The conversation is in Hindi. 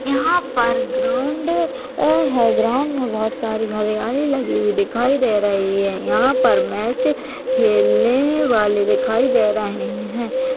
यहाँ पर ग्राउन्ड अ है ग्राउन्ड मे बोहत सारी हरियाली लगी हुई दिखाई दे रही है यहाँ पर मैच खेलने वाले दिखाई दे रहे है।